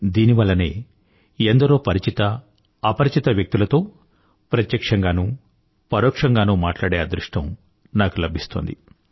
దీని వల్లనే ఎందరో పరిచిత అపరిచిత వ్యక్తులతో ప్రత్యక్ష్యంగానూ పరోక్షంగానూ మాట్లాడే అదృష్టం నాకు లభిస్తోంది